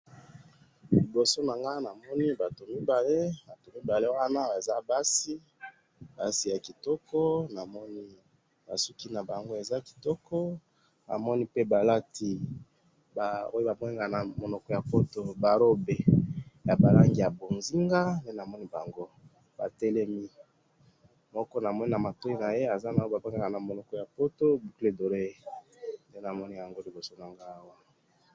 liboso nanga namoni batu mibale batu mibale wana baza basi ya kitoko na moni basuki na bango baza kitoko balati ba robe ndenge namoni